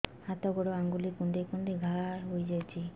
ହାତ ଗୋଡ଼ ଆଂଗୁଳି କୁଂଡେଇ କୁଂଡେଇ ଘାଆ ହୋଇଯାଉଛି